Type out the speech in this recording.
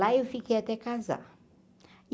Lá eu fiquei até casar.